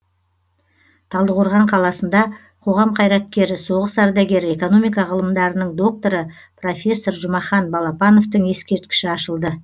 талдықорған қаласында қоғам қайраткері соғыс ардагері экономика ғылымдарының докторы профессор жұмахан балапановтың ескерткіші ашылды